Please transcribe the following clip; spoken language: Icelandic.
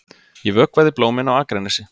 Ég vökvaði blómin á Akranesi.